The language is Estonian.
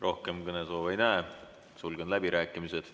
Rohkem kõnesoove ei näe, sulgen läbirääkimised.